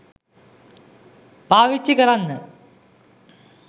පාවිච්චි කරන්න